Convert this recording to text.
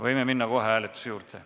Võime minna kohe hääletuse juurde.